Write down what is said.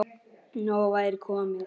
Nóg væri komið.